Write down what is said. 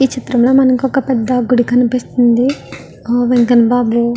ఈ చిత్రంలో మనకి ఒక పెద్ద గుడి కనిపిస్తుంది. వెంకన్నబాబు --